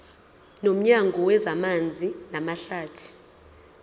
nomnyango wezamanzi namahlathi